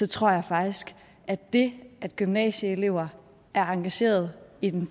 tror jeg faktisk at det at gymnasieelever er engagerede i den